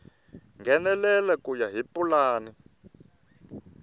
nghenelela ku ya hi pulani